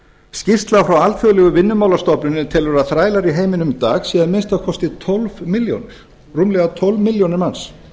skýrsla frá alþjóðlegu vinnumálastofnuninni telur að þrælar í heiminum í dag séu að minnsta kosti tólf milljónir rúmlega tólf milljónir manns